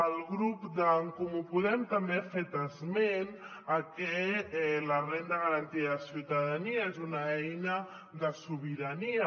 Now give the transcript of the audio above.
el grup d’en comú podem també ha fet esment de que la renda garantida de ciutadania és una eina de sobirania